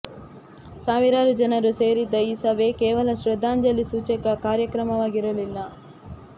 ಸಾವಿರಾರು ಜನರು ಸೇರಿದ್ದ ಈ ಸಭೆ ಕೇವಲ ಶ್ರದ್ಧಾಂಜಲಿ ಸೂಚಕ ಕಾರ್ಯಕ್ರಮವಾಗಿರಲಿಲ್ಲ